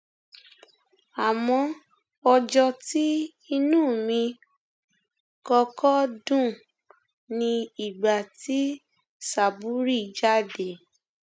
àmọ ọjọ tí inú mi kọkọ dùn ni ìgbà tí sábúrì jáde